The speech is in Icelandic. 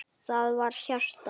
Það var hjarta!